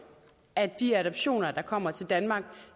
at de adoptioner der kommer til danmark